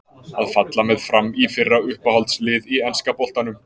Að falla með FRAM í fyrra Uppáhalds lið í enska boltanum?